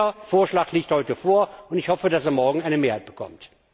Dieser Vorschlag liegt heute vor, und ich hoffe, dass er morgen eine Mehrheit bekommt.